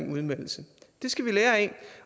udmeldelse det skal vi lære af